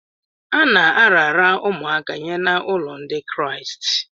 A na-arara ụmụaka nye n’ụlọ Ndị Kraịst.